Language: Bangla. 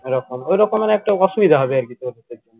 এরকম ওইরকমের একটু অসুবুধা হবে আরকি তোর